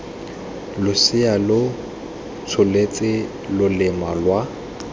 losea lo tsholetse loleme lwa